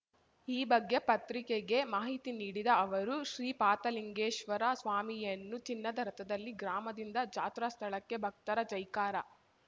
ಈ ಬಗ್ಗೆ ಪತ್ರಿಕೆಗೆ ಮಾಹಿತಿ ನೀಡಿದ ಅವರು ಶ್ರೀಪಾತಲಿಂಗೇಶ್ವರ ಸ್ವಾಮಿಯನ್ನು ಚಿನ್ನದ ರಥದಲ್ಲಿ ಗ್ರಾಮದಿಂದ ಜಾತ್ರಾ ಸ್ಥಳಕ್ಕೆ ಭಕ್ತರ ಜೈಕಾರ